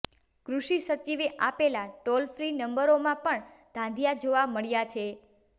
કૃષિ સચિવે આપેલા ટોલ ફ્રી નંબરોમાં પણ ધાંધીયા જોવા મળ્યા છે